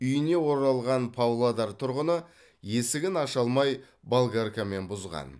үйіне оралған павлодар тұрғыны есігін аша алмай болгаркамен бұзған